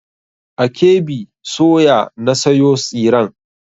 A KB soya na sayo tsiren.